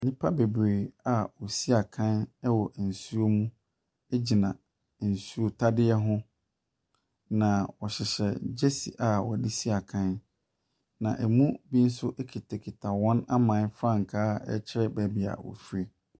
Nnipa bebree a wɔsi akan wɔ nsuo mu gyina nsuo tadeɛ ho, na wɔhyehyɛ gyesi a wɔde si akan, na mu bi nso kitakita wɔn aman frankaa a ɛkyerɛ baabi a wɔfiri.